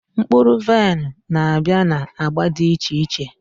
Mkpuru vain nabia na agba di iche iche